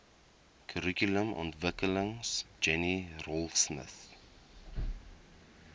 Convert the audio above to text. kurrikulumontwikkeling jenny raultsmith